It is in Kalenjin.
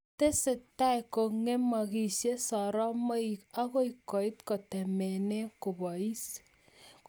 Tesetai kongemaksei sorromoik akoi koit kotemene kobois